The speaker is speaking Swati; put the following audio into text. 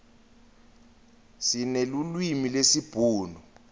sinelulwimi lesibhunu